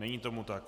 Není tomu tak.